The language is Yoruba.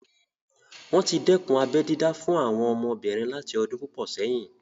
Wọ́n tí dẹ́kun abẹ́ dídá fún àwọn ọmọbìnrin láti ọdún púpọ̀ sẹ́yìn